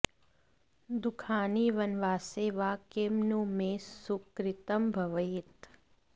दुःखानि वनवासे वा किं नु मे सुकृतं भवेत्